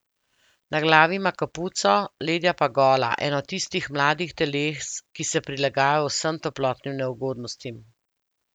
Na glavi ima kapuco, ledja pa gola, eno tistih mladih teles, ki se prilagajajo vsem toplotnim neugodnostim.